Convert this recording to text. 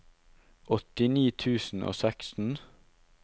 åttini tusen og seksten